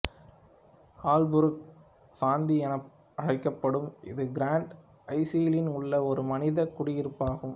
Aalborg சந்தி எனவும் அழைக்கப்படும் இது கிராண்ட ஐசிலின் உள்ள ஒரு மனிதக் குடியிருப்பு ஆகும்